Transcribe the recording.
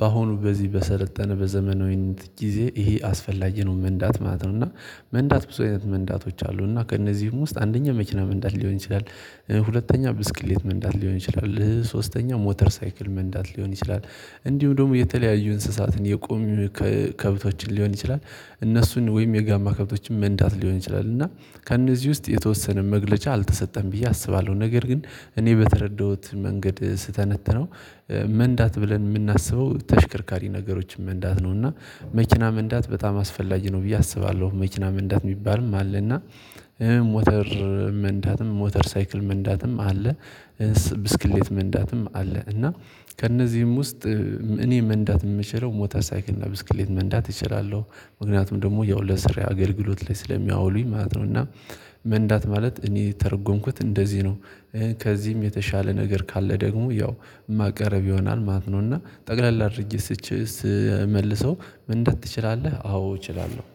በአሁኑ በዚህ በሰለጠነ በዘመናዊት ጊዜ ይሄ አስፈላጊ ነው መንዳት ማለት ነው። እና መንዳት ብዙ አይነት መንዳቶች አሉ እና ከእነዚህም ውስጥ አንደኛ መኪና መንዳት ሊሆን ይችላል። ሁለተኛ ብስክሌት መንዳት ሊሆን ይችላል ሶስተኛ ሞተር ሳይክል መንዳት ሊሆን ይችላል። እንዲሁም ደግሞ የተለያዩ እንስሳትን የቆሙ ከብቶችን ሊሆን ይችላል። እነሱን ወይም የጋማ ከብቶችን መንዳት ሊሆን ይችላል። እና ከእነዚህ ውስጥ የተወሰነ መግለጫ አልተሰጠም ብዬ አስባለሁ ነገር ግን እኔ በተረዳሁት መንገድ ስተነትነው። መንዳት ብለን የምናስበው ተሽከርካሪ ነገሮችን መንዳት ነው እና መኪና መንዳት በጣም አስፈላጊ ነው ብዬ አስባለሁ። መኪና መንዳት የሚባልም አለ እና ሞተር መንዳትም ሞተር ሳይክል መንዳትም አለ። ብስክሌት መንዳትም አለ። እና ከእነዚህም ውስጥ እኔ መንዳት የምችለው ሞተር ሳይክልና ብስክሌት መንዳት እችላለሁ። ምክንያቱም ደግሞ ያው ለስራ አገልግሎት ላይ ስለሚያውሉኝ ማለት ነው። እና መንዳት ማለት እኔ የተረጎምኩት እንደዚህ ነው። ከዚህም የተሻለ ነገር ካለ ደግሞ ያው የማቀረብ ይሆናል ማለት ነውና። ጠቅለል አድርጌ ስመልሰው መንዳት ትችላለህ አዎ እችላለሁ